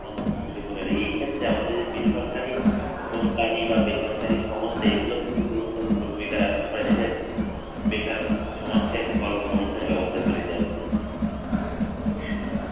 অনেক অংশেই কমে যাবে এই ক্ষেত্রে আমাদের এই যে বেসরকারি কোম্পানি বা বেসরকারি সংস্থা এইগুলো কিন্তু গুরুত্বপূর্ণ ভূমিকা রাখতে পারে দেশের সে তার সমাজকে একটা কর্মসংস্থানের ব্যবস্থা করে দেয়ার জন্য, অবশ্যই